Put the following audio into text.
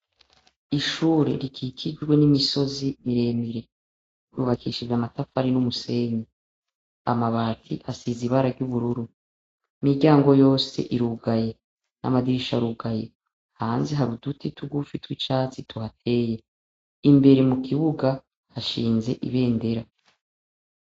Ishure rikikijwe n'imisozi miremire. Ryubakishije amatafari n'umusenyi. Amabati asize ibara ry'ubururu. Imiryango yose irugaye. Amadirisha arugaye. Hanze hari uduti tugufi tw'icatsi tuhateye. Imbere mu kibuga hashinze ibendera.